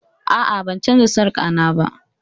A'a, ban canza sarka na ba